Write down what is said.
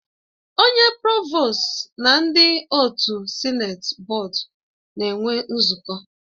Onye provostu na ndị otu Sịneti bọọdu na-enwe nzukọ